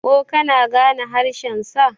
ko kana gane haeshensa!